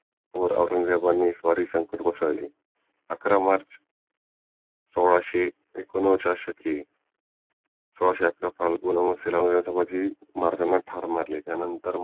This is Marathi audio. वर औरंगजेबाने स्वारी संकट कोसळले अकरा मार्च सोळाशे एकोन्नव्वद च्या शके सोळाशे अकरा फाल्गुन अमावासेला धर्मवीर छत्रपती संभाजी महराजांना ठार मारले